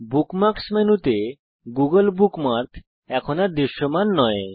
bookmarks মেনুতে Google bookmark এখন আর দৃশ্যমান নয়